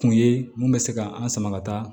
Kun ye mun bɛ se ka an sama ka taa